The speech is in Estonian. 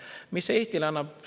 Mis see Eestile annab?